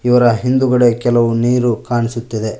ಇವರ ಹಿಂದುಗಡೆ ಕೆಲವು ನೀರು ಕಾಣುಸುತ್ತಿದೆ.